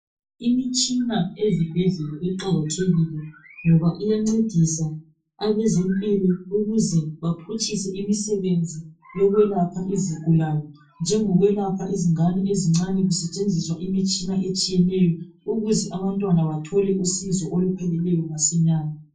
Imitshina ezibhedlela iqakathekile ngoba iyancedisa abezempilo ukuze baphutshise imisebenzi yokwelapha izigulane, njengokwelapha izingane ezincane kusetshenziswa imitshina etshiyeneyo ukuze abantwana bathole usizo olupheleleyo masinyane.